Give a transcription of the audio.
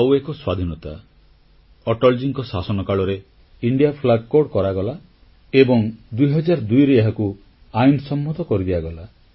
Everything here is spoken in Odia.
ଆଉ ଏକ ସ୍ୱାଧୀନତାକୁ ଅଟଲଜୀଙ୍କ ଶାସନ କାଳରେ ଭାରତୀୟ ପତାକା ସଂହିତା ଇଣ୍ଡିଆନ୍ ଫ୍ଲାଗ୍ କୋଡ୍ କରାଗଲା ଏବଂ 2002ରେ ଏହାକୁ ଆଇନସମ୍ମତ କରିଦିଆଗଲା